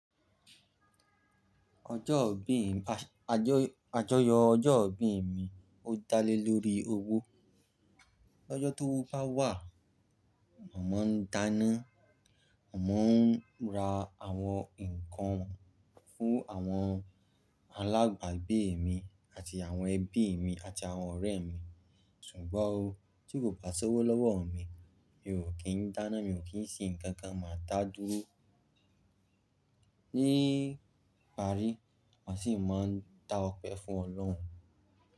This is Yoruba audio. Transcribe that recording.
Ọjọ́ ìbí, ajoyọ ọjọ́ ìbí mi o dale lori owo. L'ọjọ tówo bá wà, màá n dáná, màá n ra àwọn ǹkan fún àwọn alàbagbe mi àti àwọn ẹbí mi àti àwọn ọ̀rẹ́ mi. Ṣùgbọ́n o, tí kò bá ti sowo lọ́wọ́ mi, mi ò kí n dáná, mi ò kí n sin nkankan, màá dádúró níparí, màá sì máa n dá ọ̀pẹ fún Ọlọ́run.